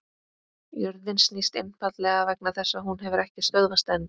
Jörðin snýst einfaldlega vegna þess að hún hefur ekki stöðvast enn!